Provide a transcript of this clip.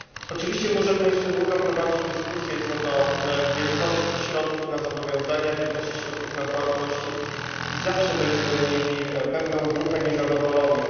Oczywiście możemy jeszcze długo prowadzić dyskusję co do wielkości środków na zobowiązania, wielkości środków na płatności i zawsze będziemy mieli pewną grupę niezadowolonych.